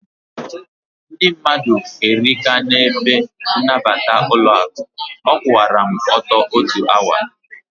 Ndị mmadụ erika na ebe nabata ụlọaku, a kwụọra m ọtọ otu awa